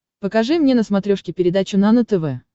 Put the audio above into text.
покажи мне на смотрешке передачу нано тв